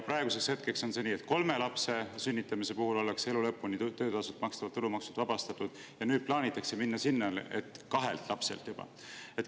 Praegu on nii, et töötasult makstavast tulumaksust ollakse elu lõpuni vabastatud kolme lapse sünnitamise korral, aga plaanitakse jõuda selleni, et juba kahe lapse korral.